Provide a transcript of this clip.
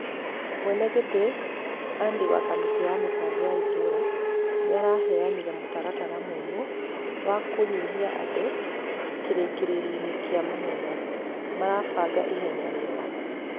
Mwenegĩti Andy wa kamĩtii ya mĩfango ya itũra nĩaraheanire mũtaratara mũmu wa kũnyihia andũ kĩrĩkĩrĩrio gia mahenya , malifanga ihenya riega